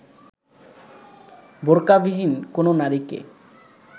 বোরকাবিহীন কোনো নারীকে